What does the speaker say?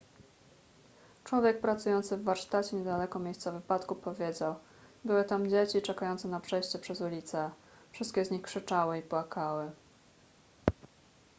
człowiek pracujący w warsztacie niedaleko miejsca wypadku powiedział były tam dzieci czekające na przejście przez ulicę wszystkie z nich krzyczały i płakały